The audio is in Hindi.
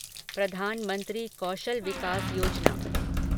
प्रधानमंत्री कौशल विकास योजना